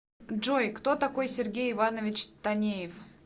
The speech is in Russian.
джой кто такой сергей иванович танеев